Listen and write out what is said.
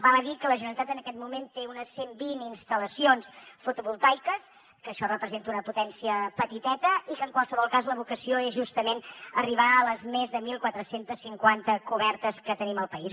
val a dir que la generalitat en aquest moment té unes cent vint instal·lacions fotovoltaiques que això representa una potència petiteta i que en qualsevol cas la vocació és justament arribar a les més de catorze cinquanta cobertes que tenim al país